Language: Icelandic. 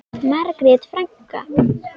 Margrét frænka.